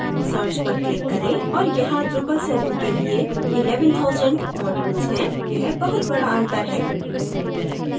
search पर click करें और यहाँ drupal 7 के लिए 11000 modules हैं यह बहुत बडा अंतर है